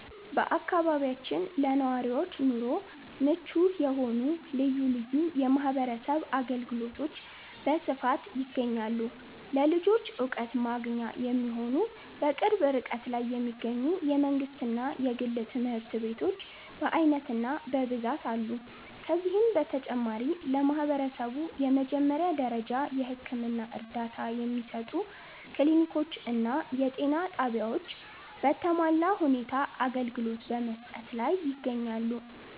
በአካባቢያችን ለነዋሪዎች ኑሮ ምቹ የሆኑ ልዩ ልዩ የማህበረሰብ አገልግሎቶች በስፋት ይገኛሉ። ለልጆች ዕውቀት ማግኛ የሚሆኑ፣ በቅርብ ርቀት ላይ የሚገኙ የመንግሥትና የግል ትምህርት ቤቶች በዓይነትና በብዛት አሉ። ከዚህም በተጨማሪ፣ ለማህበረሰቡ የመጀመሪያ ደረጃ የሕክምና እርዳታ የሚሰጡ ክሊኒኮችና የጤና ጣቢያዎች በተሟላ ሁኔታ አገልግሎት በመስጠት ላይ ይገኛሉ።